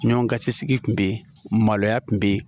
Ɲɔn ka cɛ sigi kun be yen maloya kun be yen